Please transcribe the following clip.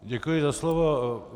Děkuji za slovo.